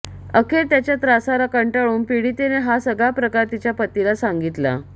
अखेर त्याच्या त्रासाला कंटाळून पीडितेने हा सगळा प्रकार तिच्या पतीला सांगितला